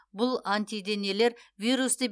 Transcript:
бұл антиденелер вирусты